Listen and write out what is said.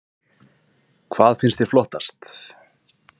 Hödd: Hvað finnst þér flottast?